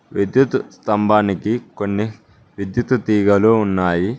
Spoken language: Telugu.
విద్యుత్ స్తంభానికి కొన్ని విద్యుత్ తీగలు ఉన్నాయి.